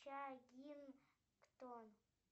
чаггингтон